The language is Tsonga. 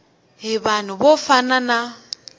hi vanhu vo fana na